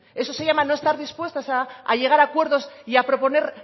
eso se llama no estar dispuestas a llegar a acuerdos y a proponer